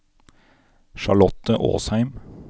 Charlotte Åsheim